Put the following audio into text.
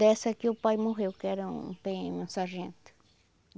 Dessa aqui o pai morreu, que era um pê eme um sargento.